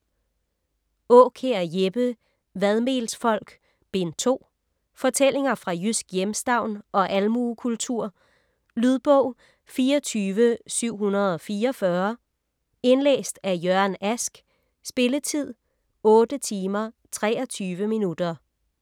Aakjær, Jeppe: Vadmelsfolk: Bind 2 Fortællinger fra jysk hjemstavn og almuekultur. Lydbog 24744 Indlæst af Jørgen Ask Spilletid: 8 timer, 23 minutter.